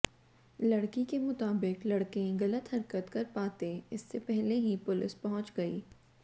लड़की के मुताबिक लड़के गलत हरकत कर पाते इससे पहले ही पुलिस पहुंच गई